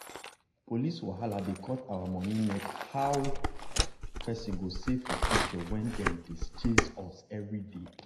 police wahala dey cut our money neck how person go save for future when dem dey chase us everyday.